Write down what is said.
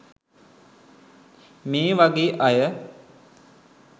මේ වගේ අය